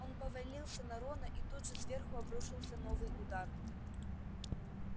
он повалился на рона и тут же сверху обрушился новый удар